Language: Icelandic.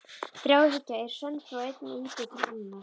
Þráhyggja er söm frá einni íbúð til annarrar.